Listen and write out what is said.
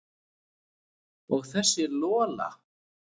Og þessa Lola.